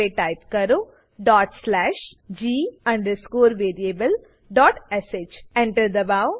હવે ટાઈપ કરો dot slash g variablesh enter દબાઓ